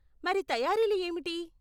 మరి తయారీలు ఏమిటి?